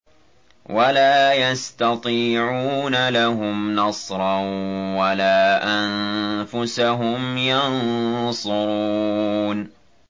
وَلَا يَسْتَطِيعُونَ لَهُمْ نَصْرًا وَلَا أَنفُسَهُمْ يَنصُرُونَ